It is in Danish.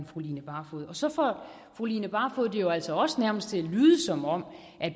fru line barfod så får fru line barfod det jo altså også nærmest til at lyde som om